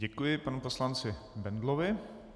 Děkuji panu poslanci Bendlovi.